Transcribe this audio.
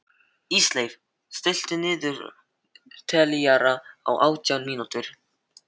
Ísleif, stilltu niðurteljara á átján mínútur.